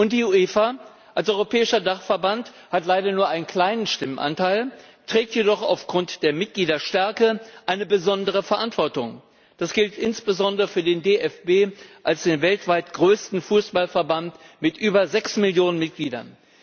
Die UEFA als europäischer Dachverband hat leider nur einen kleinen Stimmanteil, trägt jedoch aufgrund der Mitgliederstärke eine besondere Verantwortung. Das gilt insbesondere für den DFB als den weltweit größten Fußballverband mit über sechs Millionen Mitgliedern.